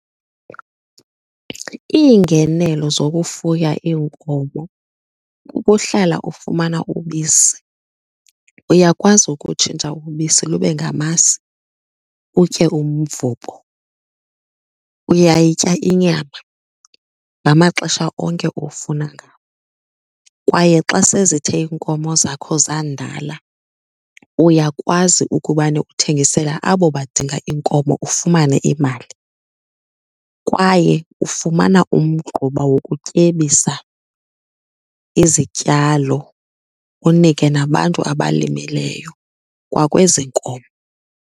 Iingenelo zokufuya iinkomo kukuhlala ufumana ubisi. Uyakwazi ukutshintsha ubisi lube ngamasi utye umvubo, uyayitya inyama ngamaxesha onke ofuna ngawo. Kwaye xa sezithe iinkomo zakho zandala, uyakwazi ukubane uthengisele abo badinga iinkomo ufumane imali kwaye ufumana umgquba wokutyebisa izityalo, unike nabantu abalimileyo kwakwezi nkomo.